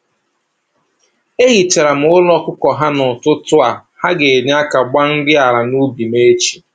E hichara m ụlọ ọkụkọ ha n'ụtụtụ a, ha ga-enye aka gbaa nri ala n'ubi m echi